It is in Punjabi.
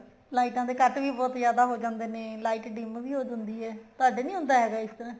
ਲਾਈਟਾਂ ਦੇ cut ਵੀ ਬਹੁਤ ਜਿਆਦਾ ਹੋ ਜਾਂਦੇ ਨੇ ਲਾਇਟ dim ਵੀ ਹੋ ਜਾਂਦੀ ਹੈ ਤੁਹਾਡੇ ਨੀ ਹੁੰਦਾ ਹੈਗਾ ਇਸ ਤਰ੍ਹਾਂ